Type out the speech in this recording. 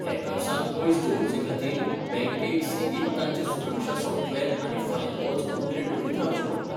हॅकर्सांक पयस दवरचे खातीर बँकेक सेगीत तांचें सुरक्षा सॉफ्टवॅर आनी फायरवॉल्स अपग्रेड करीत रावचीं पडटात.